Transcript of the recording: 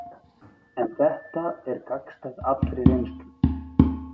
En þetta er gagnstætt allri reynslu.